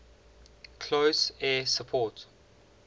close air support